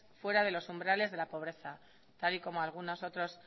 fuera de los umbrales de la pobreza tal y como algunos otros